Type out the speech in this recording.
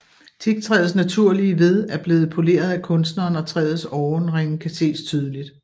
Teaktræets naturlige ved er blevet poleret af kunstneren og træets åreringe kan ses tydeligt